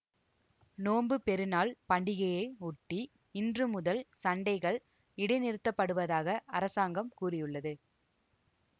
நோன்புப் பெருநாள் பண்டிகையை ஒட்டி இன்று முதல் சண்டைகள் இடைநிறுத்தப்படுவதாக அரசாங்கம் கூறியுள்ளது